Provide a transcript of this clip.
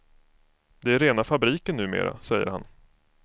Det är rena fabriken numera, säger han.